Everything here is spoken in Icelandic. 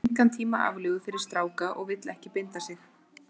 Hún hefur engan tíma aflögu fyrir stráka og vill ekki binda sig.